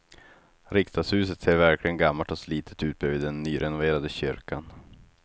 Riksdagshuset ser verkligen gammalt och slitet ut bredvid den nyrenoverade kyrkan.